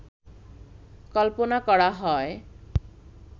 কল্পনা করা হয়